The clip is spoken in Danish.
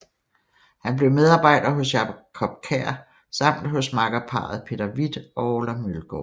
Han blev medarbejder hos Jacob Kjær samt hos makkerparret Peter Hvidt og Orla Mølgaard